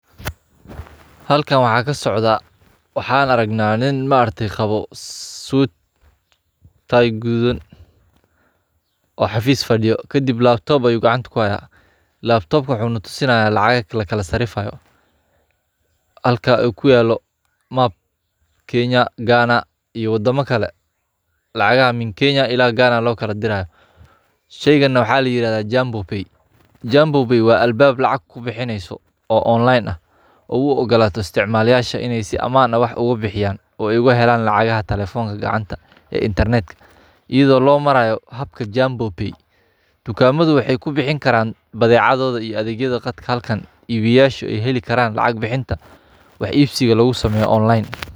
Khariidadda adduunka waa sawir weyn oo muujinaya qaabka iyo qaab-dhismeedka guud ee dhulka, oo ay ku jiraan qaaradaha, dalalka, badda, iyo meelaha kale ee muhiimka ah ee ku yaal meeraha. Khariidaddani waxay ka caawisaa dadka inay fahmaan meelaynta juqraafiyeed ee wadamada iyo xiriirka ka dhexeeya gobollada kala duwan. Waxaa lagu muujiyay khariidadda xariiqyo muujinaya xuduudaha, magaalooyinka waaweyn, iyo magaalooyinka muhiimka ah, sidoo kale xeebaha iyo buuraleyda.